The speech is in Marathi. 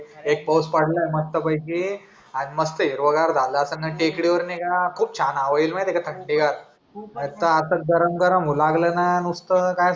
एक पाऊस पडलाय मस्त पैकी आणि मस्त हिरवा गर झालाय मग टेकडीवर नाय का खूप छान हवा येईल माहिती ए का थंडगार आनि आता खूप गरम गरम होऊ लागलाय ना नुसता काय